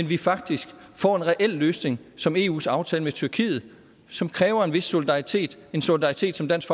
vi faktisk får en reel løsning som eus aftale med tyrkiet som kræver en vis solidaritet en solidaritet som dansk